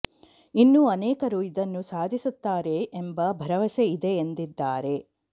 ಇನ್ನೂ ಅನೇಕರು ಇದನ್ನು ಸಾಧಿಸುತ್ತಾರೆ ಎಂಬ ಭರವಸೆ ಇದೆ ಎಂದಿದ್ದಾರೆ